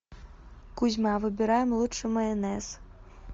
кузьма выбираем лучший майонез